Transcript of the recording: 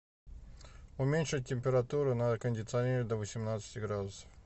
уменьшить температуру на кондиционере до восемнадцати градусов